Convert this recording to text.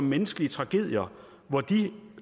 menneskelige tragedier